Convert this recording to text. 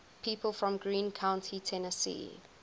people from greene county tennessee